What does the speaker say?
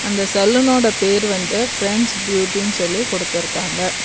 அந்த சலூனோட பேரு வந்து ஃபிரண்ட்ஸ் பியூட்டினு சொல்லி குடுத்துருக்காங்க.